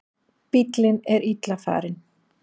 Bíllinn er illa farinn.